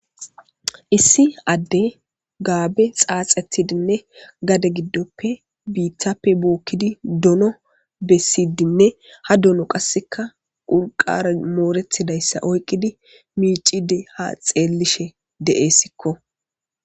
Issi adde gaabe xaaxetidinne gade giddoppe biittappe bookkidi dono bessidinne ha dono qasseka ulqare mooretidayssa oyqqidi miicide ha xeellishe de'essikko.